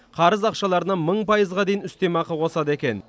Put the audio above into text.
қарыз ақшаларына мың пайызға дейін үстемақы қосады екен